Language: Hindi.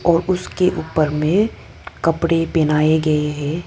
और उसके ऊपर में कपड़े पहनाए गए हैं।